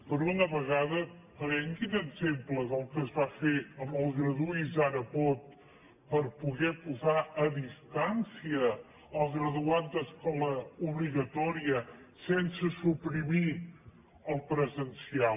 per una vegada prenguin exemple del que es fa fer amb el graduï’s ara pot per poder posar a distància el graduat d’escola obligatòria sense suprimir el presencial